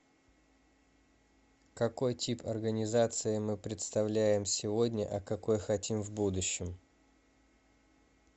какой тип организации мы представляем сегодня а какой хотим в будущем